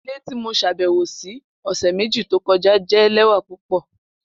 Ile ti mo ṣabẹwo si ọsẹ meji to kọja jẹ lẹwa pupọ